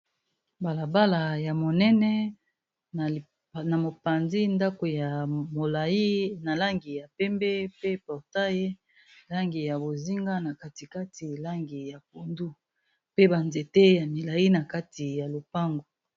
Balabala ya monene na mopanzi ndako ya molayi na langi ya pembe pe portail langi ya bozinga na katikati langi ya pondu pe ba nzete ya milayi na kati ya lopango.